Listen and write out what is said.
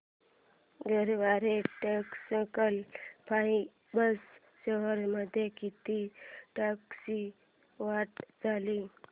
Garware technical fibres shares मध्ये किती टक्क्यांची वाढ झाली